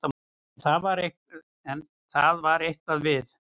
En það var eitthvað við